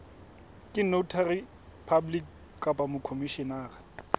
ke notary public kapa mokhomishenara